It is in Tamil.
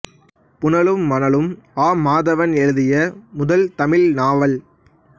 புனலும் மணலும் ஆ மாதவன் எழுதிய முதல் தமிழ் நாவல்